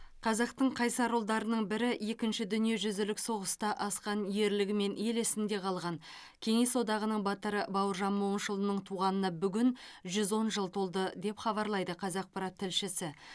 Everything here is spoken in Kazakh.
қазақтың қайсар ұлдарының бірі екінші дүниежүзілік соғыста асқан ерлігімен ел есінде қалған кеңес одағының батыры бауыржан момышұлының туғанына бүгін жүз он жыл толды деп хабарлайды қазақпарат тілшісі